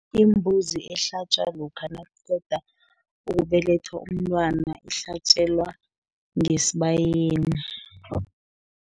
Imbuzi ehlatjwa, lokha nakuqeda ukubelethwa umntwana, ihlatjelwa ngesibayeni.